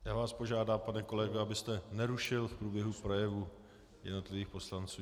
Já vás požádám, pane kolego, abyste nerušil v průběhu projevů jednotlivých poslanců.